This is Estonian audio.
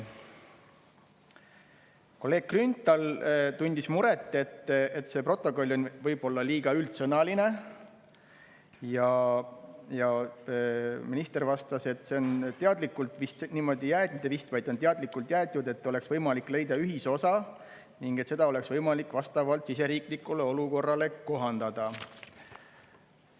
Kolleeg Grünthal tundis muret, et see protokoll on võib-olla liiga üldsõnaline, ja minister vastas, et see on teadlikult niimoodi jäetud, et oleks võimalik leida ühisosa ning et seda oleks võimalik vastavalt siseriiklikule olukorrale kohandada.